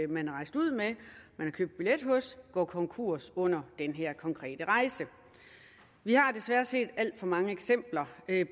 man er rejst ud med har købt billet hos går konkurs under den her konkrete rejse vi har desværre set alt for mange eksempler